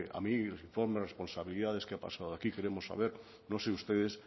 a mí informe de responsabilidades qué ha pasado aquí queremos saber no sé ustedes